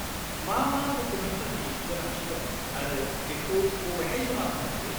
मा मा डकुमेन्टफोरनि गोनांथि दं आरो बेखौ बबेहाय जमा होनो हायो?